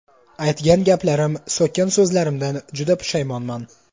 Aytgan gaplarim, so‘kkan so‘zlarimdan juda pushaymonman.